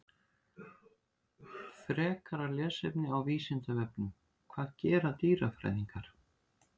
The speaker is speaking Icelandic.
Frekara lesefni á Vísindavefnum: Hvað gera dýrafræðingar?